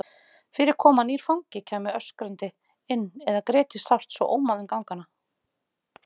Fyrir kom að nýr fangi kæmi öskrandi inn eða gréti sárt svo ómaði um gangana.